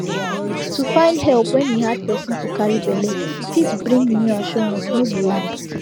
to find help when e hard person to carry belle fit bring new assurance no be lie